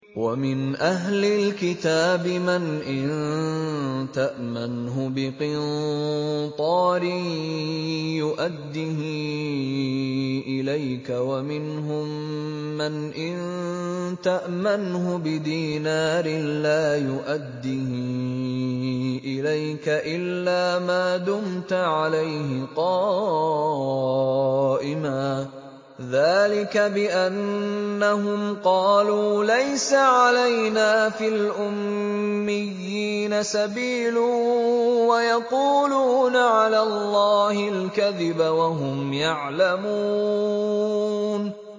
۞ وَمِنْ أَهْلِ الْكِتَابِ مَنْ إِن تَأْمَنْهُ بِقِنطَارٍ يُؤَدِّهِ إِلَيْكَ وَمِنْهُم مَّنْ إِن تَأْمَنْهُ بِدِينَارٍ لَّا يُؤَدِّهِ إِلَيْكَ إِلَّا مَا دُمْتَ عَلَيْهِ قَائِمًا ۗ ذَٰلِكَ بِأَنَّهُمْ قَالُوا لَيْسَ عَلَيْنَا فِي الْأُمِّيِّينَ سَبِيلٌ وَيَقُولُونَ عَلَى اللَّهِ الْكَذِبَ وَهُمْ يَعْلَمُونَ